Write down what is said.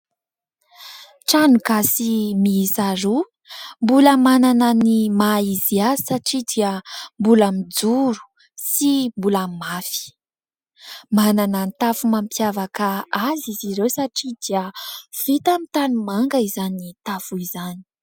Trano gasy miisa roa mbola manana ny maha izy azy satria dia mbola mijoro sy mbola mafy. Manana ny tafo mampiavaka azy izy ireo satria dia vita amin'ny tanimanga izany tafo izany.